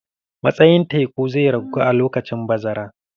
Matsayin teku zai ragu a lokacin bazara.